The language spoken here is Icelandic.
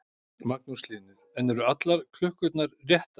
Magnús Hlynur: En eru allar klukkurnar réttar?